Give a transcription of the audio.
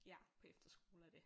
Ja på efterskole og det